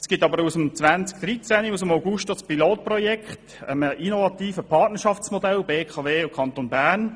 Es gibt zudem seit August 2013 ein Pilotprojekt für ein innovatives Partnerschaftsprojekt zwischen BKW und Kanton Bern.